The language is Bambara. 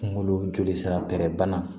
Kungolo jolisira bɛrɛ bana